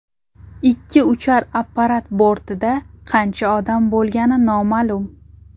Ikki uchar apparat bortida qancha odam bo‘lgani noma’lum.